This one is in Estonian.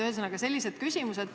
Ühesõnaga, sellised küsimused.